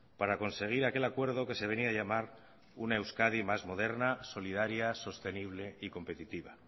para conseguir aquel acuerdo que se venía a llamar una euskadi más moderna solidaria sostenible y competitiva